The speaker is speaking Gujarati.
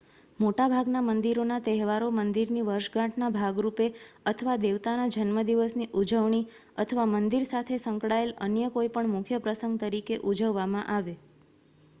મોટાભાગના મંદિરોના તહેવારો મંદિરની વર્ષગાંઠના ભાગરૂપે અથવા દેવતાના જન્મદિવસની ઉજવણી અથવા મંદિર સાથે સંકળાયેલ અન્ય કોઈપણ મુખ્ય પ્રસંગ તરીકે ઉજવવામાં આવે